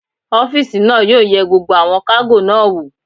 Ọ́físà náà yóò yẹ gbogbo àwọn kágò náà wò